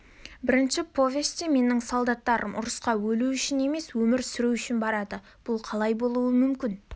бірінші повесте менің солдаттарым ұрысқа өлу үшін емес өмір сүру үшін барады бұл қалай болуы мүмкін